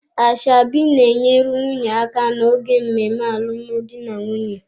Ashebi na-enyere nwunye aka n'oge mmemme alụmdi na nwunye.